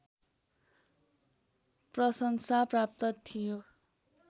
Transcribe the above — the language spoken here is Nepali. प्रशंसा प्राप्त थियो